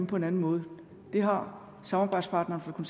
på en anden måde det har samarbejdspartneren